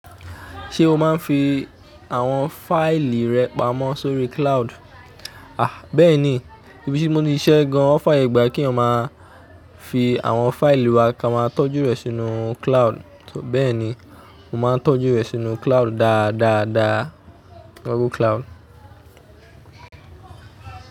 Ṣé o máa ń fi àwọn fáìlì rẹ pamọ́ sórí cloud? A! Bẹ́ẹ̀ ni, ibi tí mo ti ṣiṣẹ́ gan wọn f'yẹ̀gbà kí èèyàn máa fi àwọn fáìlì wa ká máa tọ́jú rẹ̀ sínú cloud. Bẹ́ẹ̀ ni, mo máa ń tọ́jú rẹ̀ sínú cloud dáadáa, dáa, Google Cloud.